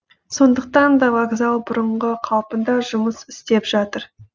сондықтан да вокзал бұрынғы қалпында жұмыс істеп жатыр